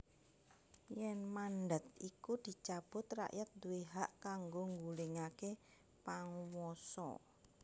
Yèn mandhat iku dicabut rakyat duwé hak kanggo nggulingaké panguwasa